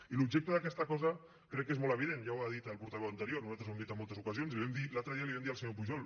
i l’objecte d’aquesta cosa crec que és molt evident ja ho ha dit el portaveu anterior nosaltres ho hem dit en moltes ocasions i l’altre dia li ho vam dir al senyor pujol